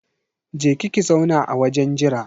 Je ki ki zauna a wajen jira